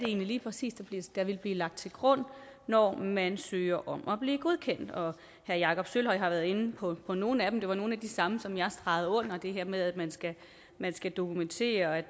egentlig præcis er der vil blive lagt til grund når man søger om at blive godkendt herre jakob sølvhøj har været inde på nogle af dem det var nogle af de samme som jeg stregede under det her med at man skal dokumentere at